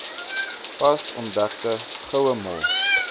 pas ontdekte gouemol